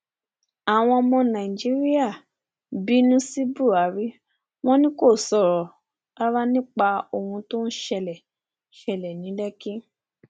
àwọn ọmọ nàìjíríà bínú sí buhari wọn ni kò sọrọ rárá nípa ohun tó ṣẹlẹ ṣẹlẹ ní lékì